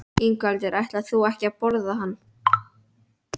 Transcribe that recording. Ingveldur: Ætlar þú ekki að borða hann?